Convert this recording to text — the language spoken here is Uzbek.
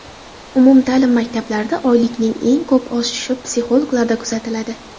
Umum-ta’lim maktablarida oylikning eng ko‘p oshishi psixologlarda kuzatiladi.